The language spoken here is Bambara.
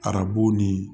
Arabu ni